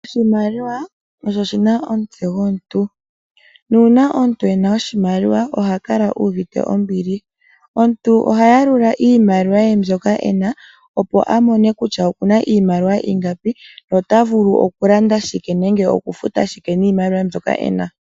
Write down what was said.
Oshimaliwa oshi na omutse gomuntu nuuna omuntu e na oshimaliwa oha kala uuvite ombili. Omuntu oha yalula iimaliwa ye mbyoka e na , opo a mone kutya oku na iimaliwa ingapi, ota vulu okulanda shike nenge okufuta shike niimaliwa mbyoka e na.